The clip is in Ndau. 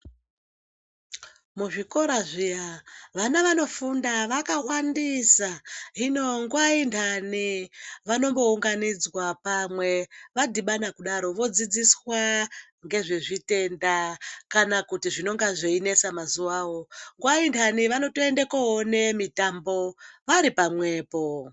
Muzvikora zviya vana vanofunda vakawandisa hino nguwa inthani vanombounganidzwa pamwe. Vadhibana kudaro vodzidziswa ngezvezvitenda kana kuti zvinonge zveinesa mazuwawo. Nguwa inthani vanotoende koone mitambo vari pamwepo.